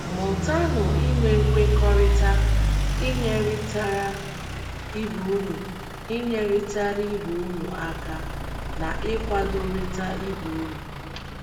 Mụtanụ inwe nkwekọrịta, inyerịtara ibe unu inyerịtara ibe unu aka na ịkwadorịta ibe unu.